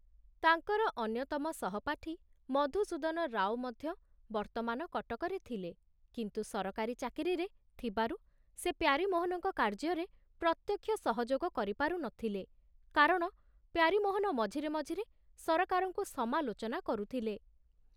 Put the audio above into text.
ତାଙ୍କର ଅନ୍ୟତମ ସହପାଠୀ ମଧୁସୂଦନ ରାଓ ମଧ୍ୟ ବର୍ତ୍ତମାନ କଟକରେ ଥିଲେ, କିନ୍ତୁ ସରକାରୀ ଚାକିରିରେ ଥିବାରୁ ସେ ପ୍ୟାରୀମୋହନଙ୍କ କାର୍ଯ୍ୟରେ ପ୍ରତ୍ୟକ୍ଷ ସହଯୋଗ କରିପାରୁ ନଥିଲେ, କାରଣ ପ୍ୟାରୀମୋହନ ମଝିରେ ମଝିରେ ସରକାରଙ୍କୁ ସମାଲୋଚନା କରୁଥିଲେ।